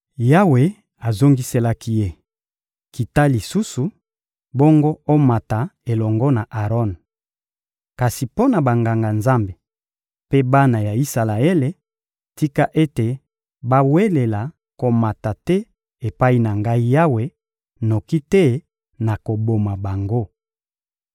Yawe azongiselaki ye: — Kita lisusu; bongo omata elongo na Aron. Kasi mpo na Banganga-Nzambe mpe bana ya Isalaele, tika ete bawelela komata te epai na Ngai Yawe, noki te nakoboma bango.